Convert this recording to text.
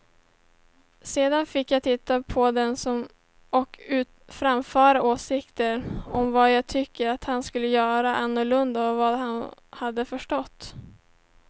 Sedan fick jag titta på dem och framföra åsikter om vad jag tyckte att han skulle göra annorlunda och vad han hade förstått.